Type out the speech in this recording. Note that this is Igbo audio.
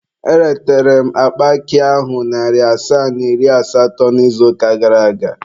Eretere m akpa akị ahụ narị asaa na iri asatọ n'izuụka gara aga.